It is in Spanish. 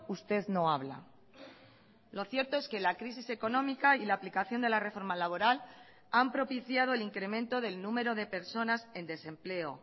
usted no habla lo cierto es que la crisis económica y la aplicación de la reforma laboral han propiciado el incremento del número de personas en desempleo